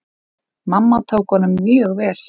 Mamma tók honum mjög vel.